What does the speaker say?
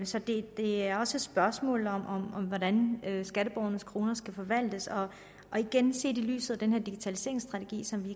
så det er også et spørgsmål om hvordan skatteborgernes kroner skal forvaltes og igen set i lyset af den her digitaliseringsstrategi som vi